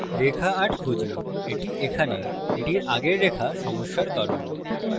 রেখা ৮ খুঁজি the এখানে এটির আগের line সমস্যার কারণ